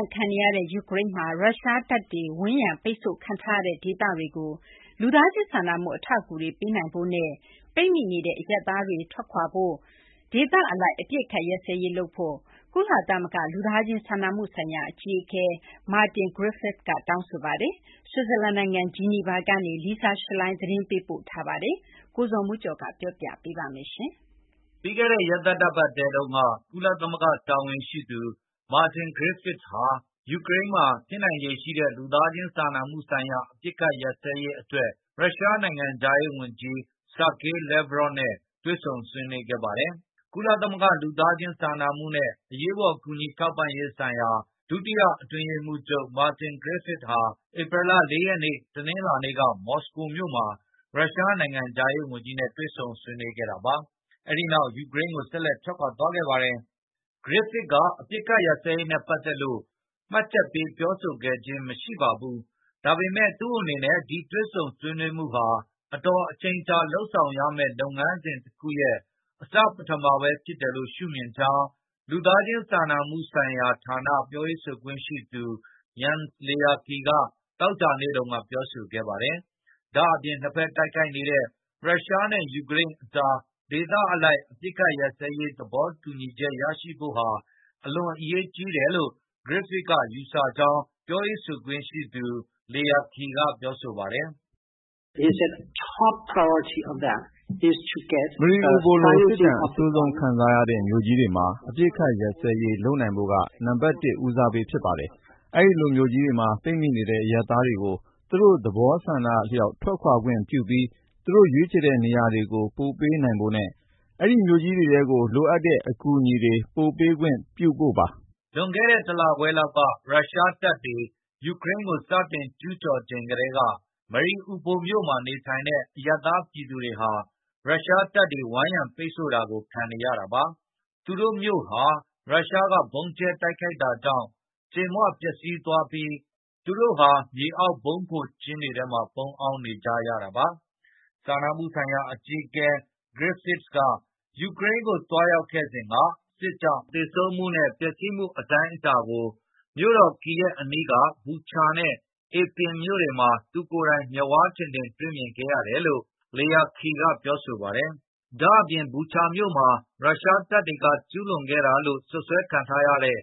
ဏ်ခံနေရတဲ့ ယူကရိန်းမှာ ရုရှားတပ်တွေ ဝန်းရံပိတ်ဆို့ခံထားရတဲ့ ဒေသတွေကို လူသားချင်းစာနာမှု အထောက်အကူတွေ ပေးနိုင်ဖို့နဲ့ ပိတ်မိနေတဲ့ အရပ်သားတွေ ထွက်ခွါနိုင်ဖို့ ဒေသအလိုက် အပစ်အခတ်ရပ်စဲရေးလုပ်ဖို့ ကုလသမဂ္ဂ လူသားချင်းစာနာမှုဆိုင်ရာ အကြီးအကဲ Martin Griffiths က တောင်းဆိုလိုက်ပါတယ်။ ဆွစ်ဇာလန်နိုင်ငံ ဂျီနီဗာမြို့ကနေ Lisa Schlein သတင်းပေးပို့ထားတာကို ကိုဇော်မိုးကျော် တင်ပြပေးထားပါတယ်။ ပြီးခဲ့တဲ့ရက်သတ္တပတ်ထဲတုန်းက ကုလသမဂ္ဂ တာဝန်ရှိသူ Martin Griffiths က ယူကရိန်းမှာ ဖြစ်နိုင်ခြေရှိတဲ့ လူသားချင်းစာနာမှုဆိုင်ရာ အပစ်အခတ် ရပ်စဲရေးအတွက် ရုရှားနိုင်ငံခြားရေးဝန်ကြီး Sergey Lavrov နဲ့ ဆွေးနွေးခဲ့ပါတယ်။ ကုလသမဂ္ဂ လူသားချင်းစာနာမှုနဲ့ အရေးပေါ် ကူညီထောက်ပံ့ရေးဆိုင်ရာ ဒုတိယအတွင်းရေးမှူးချုပ် Martin Griffiths ဟာ ဧပြီလ ၄ ရက် တနင်္လာနေ့က မော်စကိုမြို့မှာ ရုရှား နိုင်ငံခြားရေးဝန်ကြီးနဲ့ တွေ့ဆုံဆွေးနွေးခဲ့တာပါ။ အဲဒီနောက် ယူကရိန်းကို ဆက်လက် ထွက်ခွါသွားခဲ့ပါတယ်။ Griffiths က အပစ်အခတ်ရပ်စဲရေးနဲ့ ပတ်သက်လို့ မှတ်ချက်ပေး ပြောဆိုခဲ့ခြင်း မရှိပါဘူး။ ဒါပေမဲ့ သူ့အနေနဲ့ ဒီတွေ့ဆုံဆွေးနွေးမှုဟာ အချိန်အတော်ကြာ လုပ်ဆောင်ရမယ့် လုပ်ငန်းစဉ်တခုရဲ့ အစပထမပဲ ဖြစ်တယ်လို့ ရှုမြင်ကြောင်း လူသားချင်းစာနာမှုဆိုင်ရာဌာန ပြောရေးဆိုခွင့်ရှိသူ Jens Laerke က သောကြာနေ့တုန်းက ပြောဆိုခဲ့ပါတယ်။ ဒါ့အပြင် နှစ်ဖက်တိုက်ခိုက်နေတဲ့ ရုရှားနဲ့ ယူကရိန်းအကြား ဒေသအလိုက် အပစ်အခတ် ရပ်စဲရေး သဘောတူညီချက်ရဖို့ဟာ အလွန်အရေးကြီးတယ်လို့ Griffiths က ယူဆကြောင်း ပြောရေးဆိုခွင့်ရှိသူ Laerke က ပြောပါတယ်။ “Mariupol လို စစ်ဒဏ်အဆိုးဆုံး ခံစားရတဲ့ မြို့ကြီးတွေမှာ အပစ်အခတ်ရပ်စဲရေး လုပ်နိုင်ဖို့က နံပါတ် ၁ ဦးစားပေး ဖြစ်ပါတယ်။ အဲဒီလိုမြို့ကြီးတွေမှာ ပိတ်မိနေတဲ့ အရပ်သားတွေကို သူတို့သဘောဆန္ဒအလျောက် ထွက်ခါွခွင့်ပြုပြီး သူတို့ရွေးချယ်တဲ့ နေရာတွေကို ပို့ပေးနိုင်ဖို့နဲ့ အဲဒီမြို့ကြီးတွေထဲကို လိုအပ်တဲ့ အကူအညီတွေ ပို့ပေးခွင့်ပြုဖို့ပါ။” လွန်ခဲ့တဲ့ တလခွဲလောက်က ရုရှားတပ်တွေ ယူကရိန်းကို စတင်ကျူးကျော်ချိန်ကတည်းက Mariupol မြို့မှာ နေထိုင်တဲ့ အရပ်သားပြည်သူတွေဟာ ရုရှားတပ်တွေ ဝိုင်းရံပိတ်ဆို့တာကို ခံနေရတာပါ။ သူတို့မြို့ဟာ ရုရှားက ဗုံးကြဲတိုက်ခိုက်တာကြောင့် ကြေမွပျက်စီးသွားပြီး သူတို့ဟာ မြေအောက်ဗုံးခိုကျင်းတွေထဲမှာ ပုန်းအောင်းနေကြရတာပါ။ စာနာမှုဆိုင်ရာ အကြီးအကဲ Griffiths ယူကရိန်းကို သွားရောက်ခဲ့စဉ်က စစ်ကြောင့် သေဆုံးမှုနဲ့ ပျက်စီးမှု အတိုင်းအတာကို မြို့တော် Kyiv အနီးက Bucha နဲ့ Irpin မြို့တွေမှာ သူကိုယ်တိုင် မျက်ဝါးထင်ထင် တွေ့မြင်ခဲ့ရတယ်လို့ Laerke က ပြောဆိုပါတယ်။ ဒါ့အပြင် Bucha မြို့မှာ ရုရှားတပ်တွေက ကျူးလွန်ခဲ့တာလို့ စွပ်စွဲခံထားရတဲ့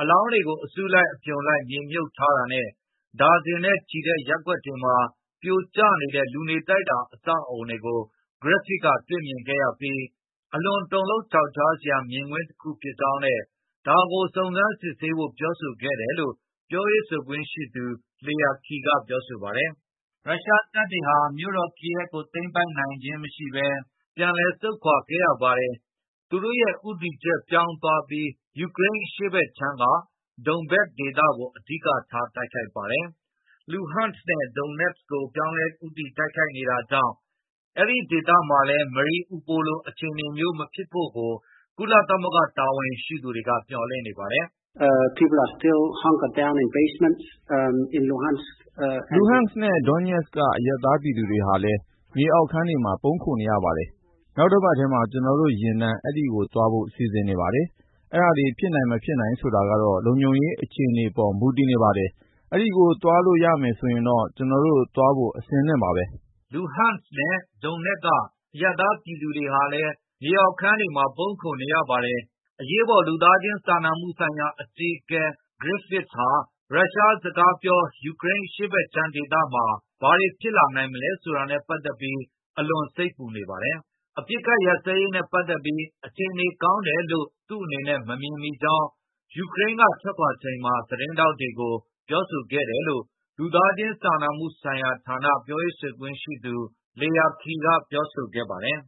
အလောင်းတွေကို အစုလိုက် အပြုံလိုက် မြေမြှုပ်ထားတာနဲ့ ဒါဇင်နဲ့ချီတဲ့ ရပ်ကွက်တွေမှာ ပြိုကျနေတဲ့ လူနေတိုက်တာ အဆောက်အဦးတွေကို Griffiths တွေ့မြင်ခဲ့ရပြီး အလွန်တုန်လှုပ် ချောက်ချားစရာ မြင်ကွင်းတခု ဖြစ်ကြောင်းနဲ့ ဒါကို စုံစမ်းစစ်ဆေးဖို့ ပြောဆိုခဲ့တယ်လို့ ပြောရေးဆိုခွင့်ရှိသူ Laerke က ပြောပါတယ်။ ရုရှားတပ်တွေဟာ မြို့တော် Kyiv ကို သိမ်းပိုက်နိုင်ခြင်းမရှိဘဲ ပြန်လည်ဆုတ်ခွါခဲ့ရပါတယ်။ သူတို့ရဲ့ ဦးတည်ချက် ပြောင်းသွားပြီး ယူကရိန်းအရှေ့ဘက်ခြမ်းက Donbas ဒေသကို အဓိကထား တိုက်ခိုက်ပါတယ်။ Luhansk နဲ့ Donetsk ကို ပြောင်းလဲဦးတည် တိုက်ခိုက်နေတာကြောင့် အဲဒီဒေသမှာလည်း Mariupol လို အခြေအနေမျိုး မဖြစ်ဖို့ကို ကုလသမဂ္ဂ တာဝန်ရှိသူတွေကတော့ မျှော်လင့်နေပါတယ်။ “Luhansk နဲ့ Donetsk က အရပ်သားပြည်သူတွေဟာလည်း မြေအောက်ခန်းတွေမှာ ပုန်းခိုနေရပါတယ်။ နောက်တပတ်ထဲမှာ ကျနော်တို့ယာဉ်တန်း အဲဒီသွားဖို့ စီစဉ်နေပါတယ်။ အဲဒါတွေ ဖြစ်နိုင်မဖြစ်နိုင် ဆိုတာကတော့ လုံခြုံရေး အခြေအနေတွေပေါ် မူတည်နေပါတယ်။ အဲဒီကို သွားလို့ရမယ်ဆိုရင်တော့ ကျနော်တို့ သွားဖို့အဆင်သင့်ပါပဲ။” အရေးပေါ် လူသားချင်းစာနာမှုဆိုင်ရာ အကြီးအကဲ Griffiths ဟာ ရုရှားစကားပြော ယူကရိန်းအရှေ့ဘက်ခြမ်းဒေသမှာ ဘာတွေဖြစ်လာနိုင်မလဲ ဆိုတာနဲ့ ပတ်သက်ပြီး အလွန် စိတ်ပူနေပါတယ်။ အပစ်အခတ်ရပ်စဲရေးနဲ့ ပတ်သက်ပြီး အခြေအနေကောင်းတယ်လို့ သူ့အနေနဲ့ မမြင်မိကြောင်း ယူကရိန်းက ထွက်ခွါချိန်မှာ သတင်းထောက်တွေကို ပြောဆိုခဲ့တယ်လို့ လူသားချင်းစာနာမှုဆိုင်ရာဌာန ပြောရေးဆိုခွင့်ရှိသူ Laerke က ပြောဆိုခဲ့ပါတယ်